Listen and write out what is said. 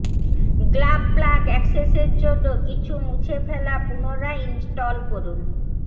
গ্লাব প্লাগ অ্যাক্সেসের জন্য কিছু মুছে ফেলা পুনরায় ইনস্টল করুন